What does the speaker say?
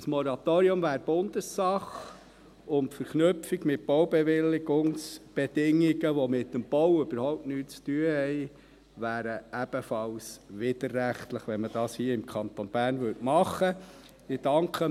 Ein Moratorium wäre Bundessache, und die Verknüpfung mit Baubewilligungsbedingungen, die mit dem Bau überhaupt nichts zu tun haben, wäre ebenfalls widerrechtlich, wenn man dies hier im Kanton Bern machen würde.